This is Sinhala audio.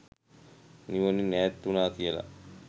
නිවනින් ඈත් වුණා කියනවා.